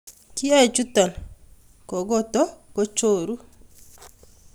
Kiyoe chuton kokoto kochoru.